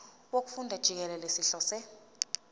wokufunda jikelele sihlose